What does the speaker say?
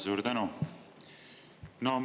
Suur tänu!